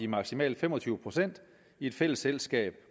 maksimalt fem og tyve procent i et fælles selskab